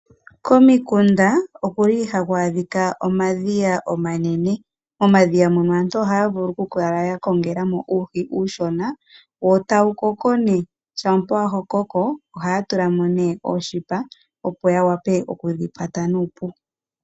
Komikunda okuli haku adhika omadhiya omanene. Momadhiya mono aantu ohaya vulu okukala ya kongela mo uuhi uushona wo e tawu koko nee, shampa wa koko ohaya tula mo nee oonete opo ya wape okudhi kwata nuupu.